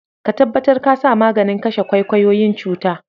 Ka tabatar ka sa maganin kashe kwaikwayoyin cuta.